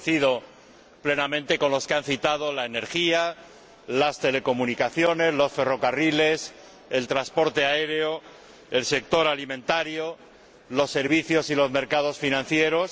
coincido plenamente con los que han citado la energía, las telecomunicaciones, los ferrocarriles, el transporte aéreo, el sector alimentario, los servicios y los mercados financieros.